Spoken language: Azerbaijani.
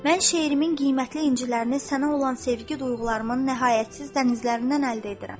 Mən şeirimin qiymətli incilərini sənə olan sevgi duyğularımın nəhayətsiz dənizlərindən əldə edirəm.